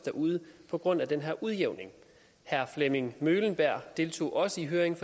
derude på grund af den her udjævning herre flemming møhlenberg fra deltog også i høringen